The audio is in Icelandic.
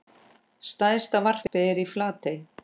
Stærsta varpið er í Flatey.